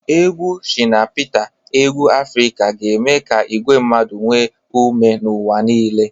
Egwu Shina Peter egwu Afrika ga-eme ka igwe mmadụ nwee ume n'ụwa niile.